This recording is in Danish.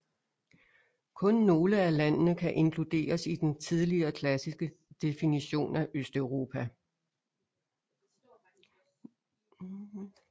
Kun nogle af landene kan inkluderes i den tidligere klassiske definition af Østeuropa